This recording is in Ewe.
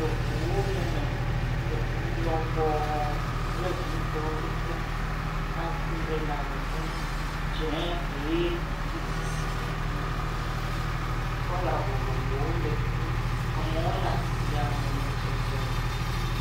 Eŋuwo lee me. Eŋu lɔbɔɔ kple viitɔwo kekem. Ambréla le fu nu, dzẽe, ʋee, ŋutisiɖiɖi. Kɔla vovovowo le fi mi. Amewo le asiame le zɔzɔ.